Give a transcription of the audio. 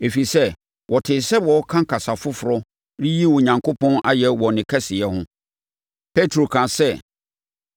Ɛfiri sɛ, wɔtee sɛ wɔreka kasa foforɔ reyi Onyankopɔn ayɛ wɔ ne kɛseyɛ ho. Petro kaa sɛ,